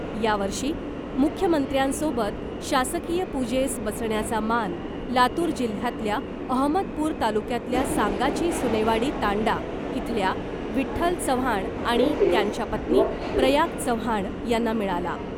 यावर्षी मुख्यमंत्र्यांसोबत शासकीय पूजेस बसण्याचा मान लातूर जिल्ह्यातल्या अहमदपूर तालुक्यातल्या सांगाची सुनेवाडी तांडा इथल्या विठ्ठल चव्हाण आणि त्यांच्या पत्नी प्रयाग चव्हाण यांना मिळाला .